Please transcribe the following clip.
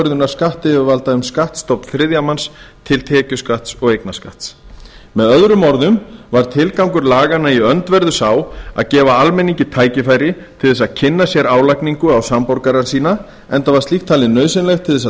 um skattstofn þriðja manns til tekjuskatts og eignarskatts með öðrum orðum var tilgangur laganna í öndverðu sá að gefa almenningi tækifæri til að kynna sér álagningu á samborgara sína enda var slíkt talið nauðsynlegt til að